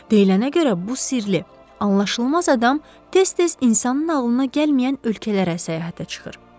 Deyilənə görə bu sirli, anlaşılmaz adam tez-tez insanın ağlına gəlməyən ölkələrə səyahətə çıxır.